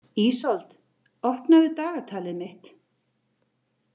Ísold, opnaðu dagatalið mitt.